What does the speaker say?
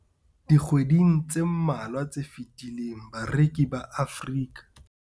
Dikgweding tse mmalwa tse fetileng, bareki ba Afrika.